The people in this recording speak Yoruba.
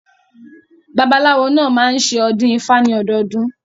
Babaláwo náà máa ń ṣe ọdún ifá ní ọdọdún.